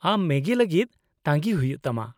ᱟᱢ ᱢᱮᱜᱤ ᱞᱟᱹᱜᱤᱫ ᱛᱟᱺᱜᱤ ᱦᱩᱭᱩᱜ ᱛᱟᱢᱟ ᱾